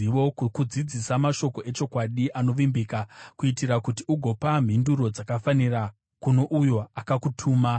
kukudzidzisa mashoko echokwadi anovimbika, kuitira kuti ugopa mhinduro dzakafanira kuno uyo akakutuma?